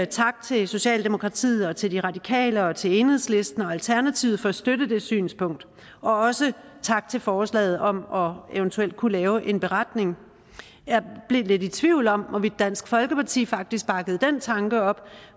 tak til socialdemokratiet og til de radikale og til enhedslisten og alternativet for at støtte det synspunkt og også tak til forslaget om eventuelt at kunne lave en beretning jeg blev lidt tvivl om hvorvidt dansk folkeparti faktisk bakkede den tanke op